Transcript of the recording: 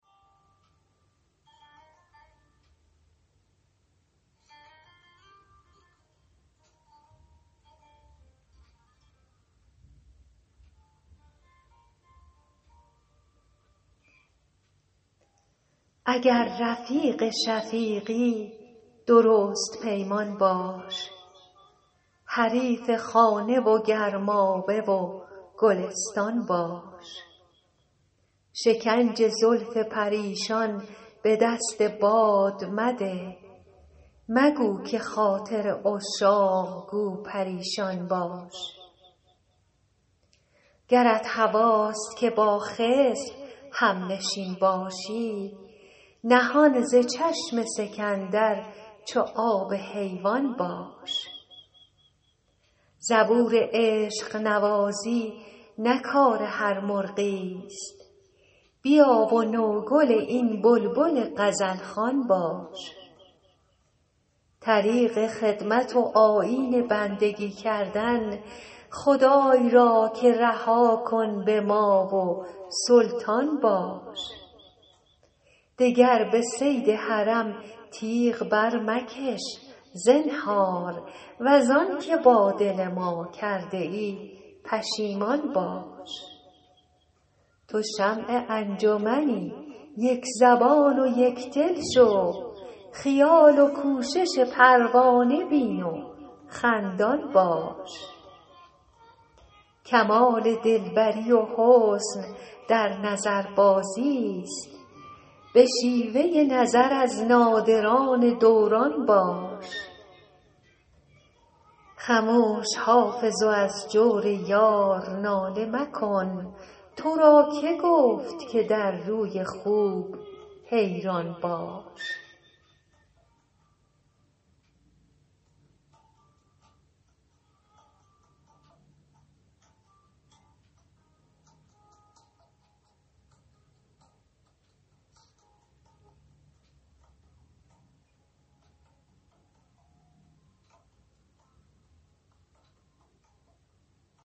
اگر رفیق شفیقی درست پیمان باش حریف خانه و گرمابه و گلستان باش شکنج زلف پریشان به دست باد مده مگو که خاطر عشاق گو پریشان باش گرت هواست که با خضر هم نشین باشی نهان ز چشم سکندر چو آب حیوان باش زبور عشق نوازی نه کار هر مرغی است بیا و نوگل این بلبل غزل خوان باش طریق خدمت و آیین بندگی کردن خدای را که رها کن به ما و سلطان باش دگر به صید حرم تیغ برمکش زنهار وز آن که با دل ما کرده ای پشیمان باش تو شمع انجمنی یک زبان و یک دل شو خیال و کوشش پروانه بین و خندان باش کمال دل بری و حسن در نظربازی است به شیوه نظر از نادران دوران باش خموش حافظ و از جور یار ناله مکن تو را که گفت که در روی خوب حیران باش